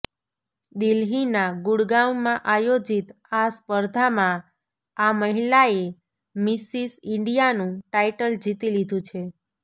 દિલ્હીના ગુડગાવમાં આયોજિત આ સ્પર્ધામાં આ મહિલાએ મિસિસ ઈન્ડિયાનું ટાઈટલ જીતી લીધું છે